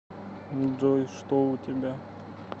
джой что у тебя